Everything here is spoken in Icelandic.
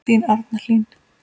Þín Arna Hlín.